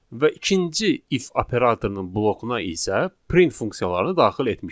Və ikinci if operatorunun blokuna isə print funksiyalarını daxil etmişik.